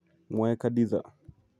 Mwae Khadiza.